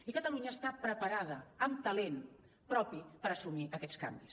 i catalunya està preparada amb talent propi per assumir aquests canvis